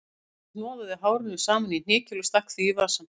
Karl hnoðaði hárinu saman í hnykil og stakk því í vasann